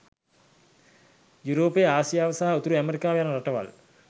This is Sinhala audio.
යුරෝපය ආසියාව සහ උතුරු ඇමෙරිකාව යන රටවල්